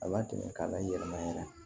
A latɛmɛ k'a la yɛlɛma yɛrɛ